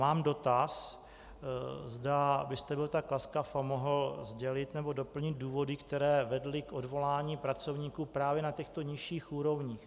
Mám dotaz, zda byste byl tak laskav a mohl sdělit nebo doplnit důvody, které vedly k odvolání pracovníků právě na těchto nižších úrovních.